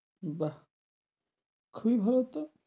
বাহ খুব ভালো তো।